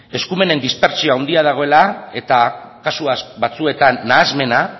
eskumenen dispertsio haundia dagoela eta kasu batzuetan nahasmena